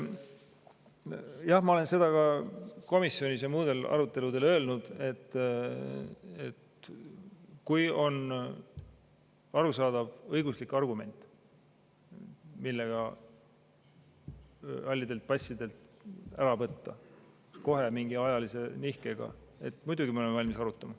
Jah, ma olen seda ka komisjonis ja muudel aruteludel öelnud, et kui on arusaadav õiguslik argument, millega halli passi omanikelt ära võtta kohe, mingi ajalise nihkega, siis muidugi me oleme valmis seda arutama.